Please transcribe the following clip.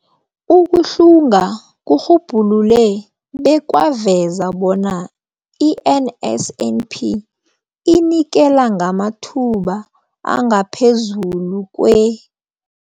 Ukuhlunga kurhubhulule bekwaveza bona i-NSNP inikela ngamathuba angaphezulu kwe-